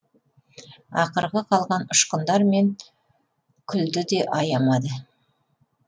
ақырғы қалған ұшқындар мен күлді де аямады